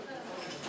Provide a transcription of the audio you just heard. Götürürəm.